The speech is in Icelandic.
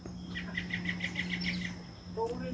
Stefán Máni neitar því ekki.